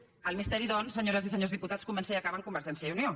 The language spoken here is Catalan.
el misteri doncs senyores i senyors diputats comença i acaba en convergència i unió